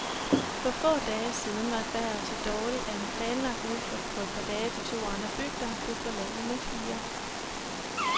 For få dage siden var vejret så dårligt, at en planlagt udflugt på et par dage til to andre bygder, blev forlænget med fire.